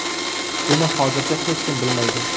Buni hozircha hech kim bilmaydi.